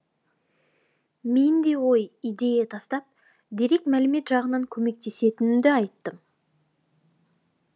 мен де ой идея тастап дерек мәлімет жағынан көмектесетінімді айттым